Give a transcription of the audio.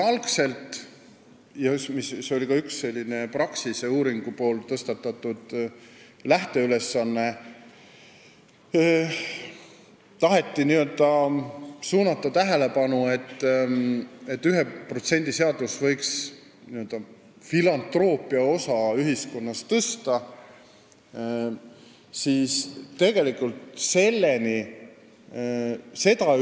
Algselt – see oli ka üks Praxise uuringus tõstatatud lähteülesanne – taheti suunata tähelepanu sellele, et 1% seadus võiks ühiskonnas tõsta n-ö filantroopia osakaalu.